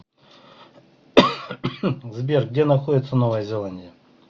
сбер где находится новая зеландия